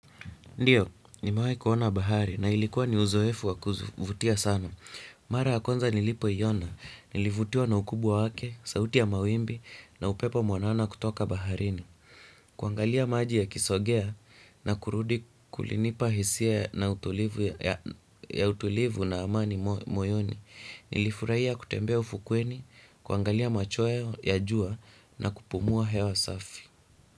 Ndiyo, nimewahi kuona bahari na ilikuwa ni uzoefu wa kuvutia sana. Mara ya kwanza nilipoiona, nilivutiwa na ukubwa wake, sauti ya mawimbi na upepo mwanana kutoka baharini. Kuangalia maji yakisogea na kurudi kulinipa hisia na utulivu na amani moyoni. Nilifurahia kutembea ufukweni, kuangalia machweo ya jua na kupumua hewa safi.